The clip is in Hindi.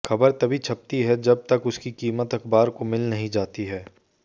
खबर तभी छपती है जब तक उसकी कीमत अखबार को मिल नहीं जाती है